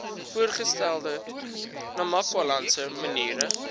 voorgestelde namakwalandse mariene